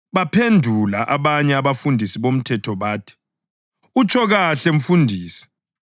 Baphendula abanye abafundisi bomthetho bathi, “Utsho kahle Mfundisi!”